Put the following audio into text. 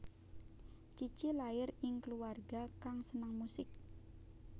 Cici lair ing kluwarga kang seneng musik